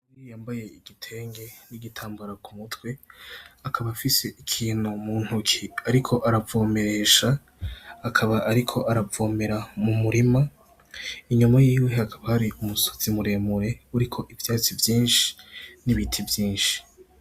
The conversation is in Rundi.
Umugore yambaye igitenge nigitamabara ku mutwe akaba afise ikintu muntoke ariko aravomeresha ariko aravomera mu murima inyuma yiwe hakaba hari umusozi muremure uriko ivyatsi vyinshi n'ibiti.